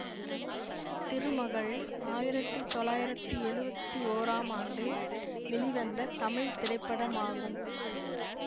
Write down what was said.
திருமகள் ஆயிரத்தி தொள்ளாயிரத்தி எழுவத்தி ஒறாம் ஆண்டு வெளிவந்த தமிழ் திரைப்படமாகும்